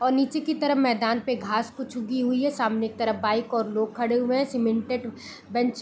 और नीचे की तरफ़ मैदान में घास कुछ उगी हुई है सामने की तरफ़ बाइक और लोग खड़े हुए हैं सीमेंटेड बेंच --